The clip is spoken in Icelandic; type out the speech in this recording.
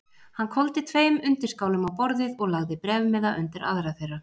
Hann hvolfdi tveim undirskálum á borðið og lagði bréfmiða undir aðra þeirra.